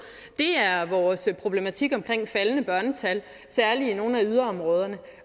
er vores problematik omkring det faldende børnetal særlig i nogle af yderområderne